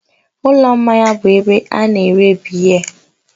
Ụlọ mmanya bụ ebe a na-ere biya